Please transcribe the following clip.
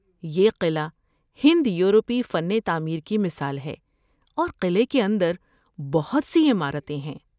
یہ قعلہ ہند یورپی فن تعمیر کی مثال ہے اور قلعے کے اندر بہت سی عمارتیں ہیں۔